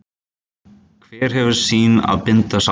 Hver hefur sín að binda sár.